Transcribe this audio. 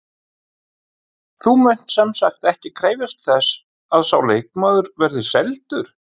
Þú munt semsagt ekki krefjast þess að sá leikmaður verði seldur?